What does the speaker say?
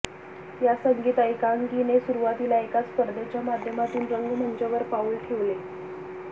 या संगीत एकांकिकेने सुरुवातीला एका स्पर्धेच्या माध्यमातून रंगमंचावर पाऊल ठेवले